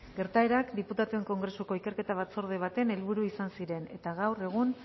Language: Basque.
gertaerak diputatuen kongresu ikerketa batzorde baten helburu izan ziren eta gaur egun